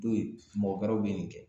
To yen mɔgɔ wɛrɛw bi nin kɛ